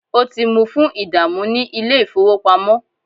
o ti mu fun idamu ni ile-ifowopamọ.